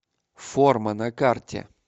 форма на карте